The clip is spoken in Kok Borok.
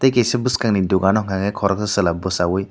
tei kaisa boskhang ni dogano hingkakhe koroksa chwla bosawi.